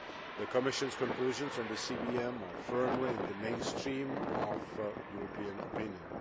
The Commission's conclusions on the CVM are firmly in the mainstream of European opinion